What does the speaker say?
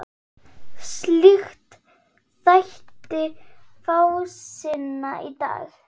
Slíkt þætti fásinna í dag.